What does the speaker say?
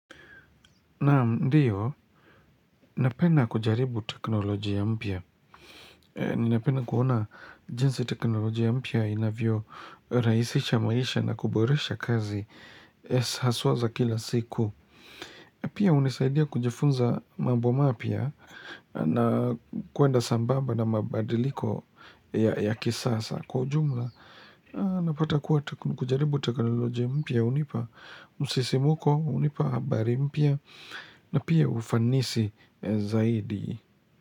Naam ndiyo, napenda kujaribu teknolojia mpya. Ninapenda kuona jinsi teknolojia mpya inavyoraisisha maisha na kuboresha kazi haswa za kila siku. Pia unisaidia kujifunza mambo mapya na kuenda sambamba na mabadiliko ya kisasa kwa ujumla. Napata kuwa kujaribu teknoloji ya mpya. Unipa msisimuko unipa habari mpya na pia ufanisi zaidi.